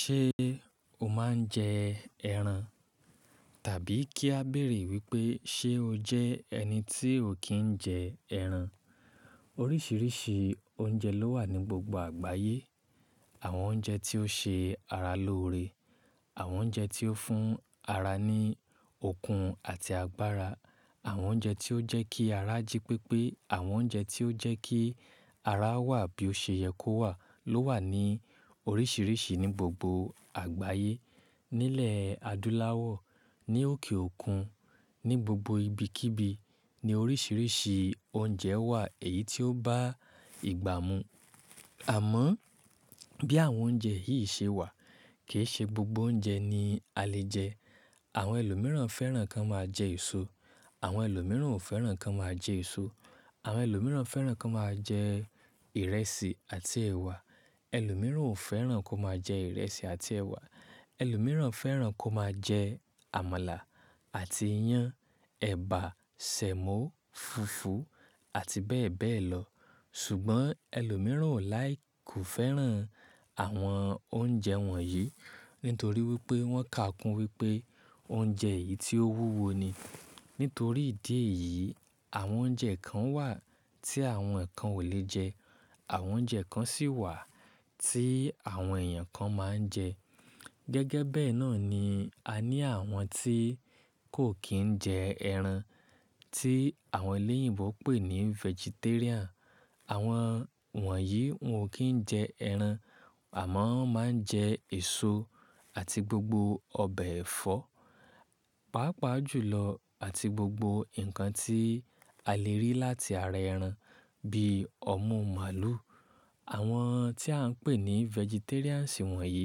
Ṣé o máa ń jẹ ẹran? Tàbí kí a béèrè wípé ṣe o jẹ́ ẹni tí ò kí ń jẹ ẹran? Oríṣiríṣi oúnjẹ ló wà ní gbogbo àgbáyé. Àwọn oúnjẹ tí ó ṣe ara lóore, àwọn oúnjẹ tí ó fún ara ní okun àti agbára, àwọn oúnjẹ tí ó jẹ́ kí ara jí pépé, àwọn oúnjẹ tí ó jẹ́ kí ara wà bí ó ṣe yẹ kó wà ló wà ní oríṣiríṣi ní gbogbo àgbáyé. Nílẹ̀ adúláwọ̀, ní òkè òkun, ní gbogbo ibikíbi ni oríṣiríṣi oúnjẹ wà èyí tí ó bá ìgbà mu. Àmọ́ bí àwọn oúnjẹ yìí ṣe wà, kì í ṣe gbogbo oúnjẹ ni a lè jẹ. Àwọn ẹlòmíràn fẹ́ràn kí wọ́n máa jẹ èso. Àwọn ẹlòmíràn ò fẹ́ràn kí wọ́n máa jẹ èso. Àwọn ẹlòmíràn fẹ́ràn kí wọ́n máa jẹ ìrẹsì àti ẹ̀wà. Ẹlòmíràn ò fẹ́ràn kó máa jẹ ìrẹsì àti ẹ̀wà. Ẹlòmíràn fẹ́ràn kó máa jẹ àmàlà àti iyán, ẹ̀bà, sẹ̀mo, fufu àti bẹ́ẹ̀ bẹ́ẹ̀ lọ. Ṣùgbọ́n ẹlòmíràn ò like fẹ́ràn àwọn oúnjẹ wọ̀nyí nítorí wípé wọ́n kà kún wípé oúnjẹ yìí tí ó wúwo ni. Nítorí ìdí èyí, àwọn oúnjẹ kan wà tí àwọn kan ò lè jẹ. Àwọn oúnjẹ kan sì wà tí àwọn èèyàn kan máa ń jẹ. Gẹ́gẹ́ bẹ́ẹ̀ náà ni a ní àwọn tí kò kí ń jẹ ẹran, tí àwọn elẹ́yìnbo pè ní vegetarian. Àwọn wọ̀nyí wọn ò kí ń jẹ ẹran àmọ́ wọ́n máa ń jẹ èso àti gbogbo ọbẹ̀ ẹ̀fọ́, pàápàá jùlọ àti gbogbo nǹkan tí a lè rí láti ara ẹran bíi ọmú màlúù. Àwọn tí à ń pè ní vegetarians wọ̀nyí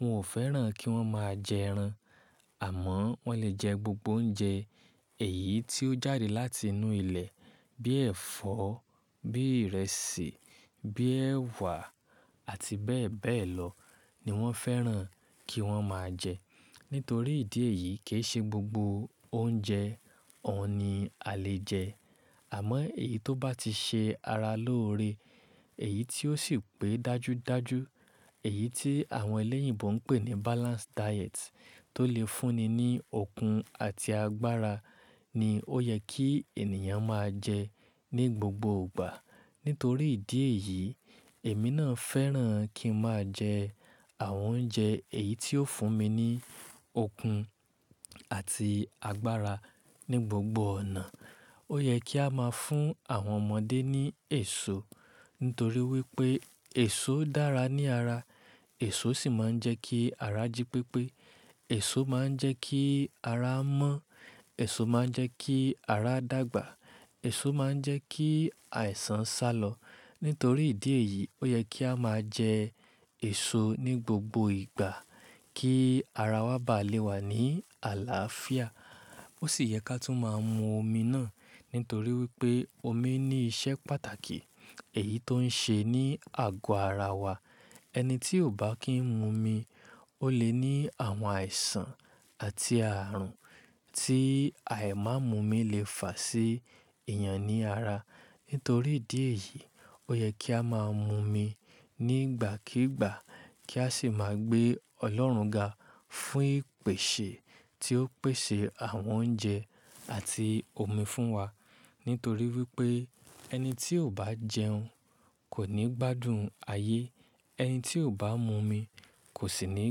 wọn ò fẹ́ràn kí wọ́n máa jẹ ẹran àmọ́ wọ́n lè jẹ gbogbo oúnjẹ èyí tí ó jáde láti inú ilẹ̀ bíi ẹ̀fọ́, bíi ìrẹsì, bíi ẹ̀wà àti bẹ́ẹ̀ bẹ́ẹ̀ lọ ni wọ́n fẹ́ràn kí wọ́n máa jẹ. Nítorí ìdí èyí kì í ṣe gbogbo oúnjẹ ọ̀un ni a lè jẹ. Àmọ́ èyí tó bá ti ṣe ara lóore, èyí tí ó sì pé dájúdájú, èyí tí àwọn elẹ́yìnbo ń pè ní balanced diet tó lè fúnni ní okun àti agbára ni ó yẹ kí ènìyàn máa jẹ ní gbogbo ìgbà. Nítorí ìdí èyí, èmi náà fẹ́ràn kí n máa jẹ àwọn oúnjẹ èyí tí ó fún mi ní okun àti agbára ní gbogbo ọ̀nà. Ó yẹ kí a máa fún àwọn ọmọdé ní èso nítorí wípé èso dára ní ara. Èso sì máa ń jẹ́ kí ara jí pépé. Èso máa ń jẹ́ kí ara mọ́. Èso máa ń jẹ́ kí ara dàgbà. Èso máa ń jẹ́ kí àìsàn sálọ. Nítorí ìdí èyí, ó yẹ kí a máa jẹ èso ní gbogbo ìgbà kí ara wa bá lè wà ní àlàáfíà. Ó sì yẹ ká tú máa ń mu omi náà nítorí wípé omi ní iṣẹ́ pàtàkì èyí tó ń ṣe ní àgọ́ ara wa. Ẹni tí ò bá kí ń mu omi ó lè ní àwọn àìsàn àti ààrùn tí àì máa mú omi lè fà sí èèyàn ní ara. Nítorí ìdí èyí, ó yẹ kí a máa mu omi nígbàkígbà kí a sì máa gbé Ọlọ́run ga fún ìpèsè tí ó pèsè àwọn oúnjẹ àti omi fún wa. Nítorí wípé ẹni tí ò bá jẹun kò ní gbádùn ayé. Ẹni tí ò bá mu omi kò sì ní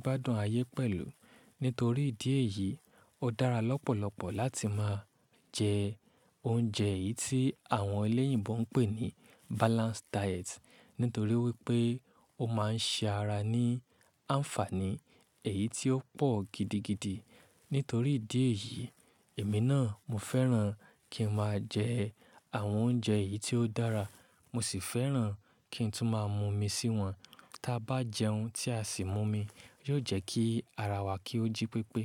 gbádùn ayé pẹ̀lú. Nítorí ìdí èyí, ó dára lọ́pọ̀lọpọ̀ láti máa jẹ oúnjẹ èyí tí àwọn elẹ́yìnbo ń pè ní balanced diet nítorí wípé ó máa ń ṣe ara ní àǹfààní èyí tí ó pọ̀ gidigidi. Nítorí ìdí èyí, èmi náà mo fẹ́ràn kí n máa jẹ àwọn oúnjẹ èyí tí ó dára. Mo sì fẹ́ràn kí n tún máa mu omi síwọn. Tí a bá jẹun tí a sì mu omi, yóò jẹ́ kí ara wa kí ó jí pépé.